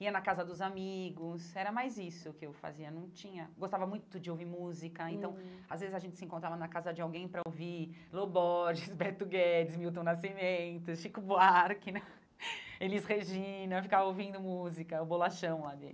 Ia na casa dos amigos, era mais isso que eu fazia, não tinha... Gostava muito de ouvir música, hum então, às vezes, a gente se encontrava na casa de alguém para ouvir Lo Borges, Beto Guedes, Milton Nascimento, Chico Buarque né, Elis Regina, eu ficava ouvindo música, o Bolachão lá